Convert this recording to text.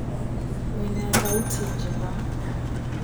Wĩna thaũti njega